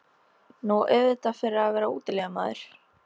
Nú, auðvitað fyrir að vera útilegumaður.